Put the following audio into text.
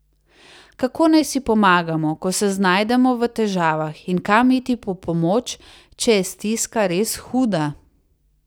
Kako naj si pomagamo, ko se znajdemo v težavah, in kam iti po pomoč, če je stiska res huda?